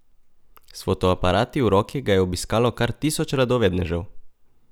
S fotoaparati v roki ga je obiskalo kar tisoč radovednežev.